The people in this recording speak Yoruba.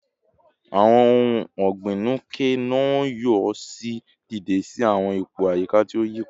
Awọn ohun ọgbin Nuke-Noh yoo ṣe deede si awọn ipo ayika ti o yipada